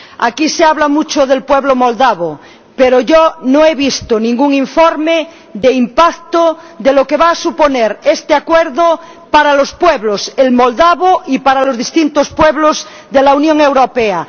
Aquí se habla mucho del pueblo moldavo, pero yo no he visto ningún informe de impacto de lo que va a suponer este acuerdo para los pueblos para el pueblo moldavo y para los distintos pueblos de la Unión Europea.